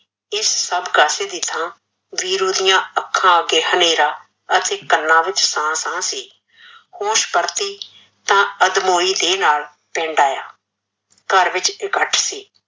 ਇਸ ਸੱਭ ਕਾਂਸੀ ਦੀ ਥਾਂ ਵੀਰੂ ਦੀਆ ਅੱਖਾਂ ਅੱਗੇ ਹਨੇਰਾ, ਅਤੇ ਕੰਨਾ ਵਿੱਚ ਸਾ ਸਾ ਸੀ, ਹੋਸ਼ ਪਰਤੀ ਤਾਂ ਅੱਧਮੋਈ ਦੇਹ ਨਾਲ ਪਿੰਡ ਆਇਆ ਘਰ ਵਿੱਚ ਇਕੱਠ ਸੀ,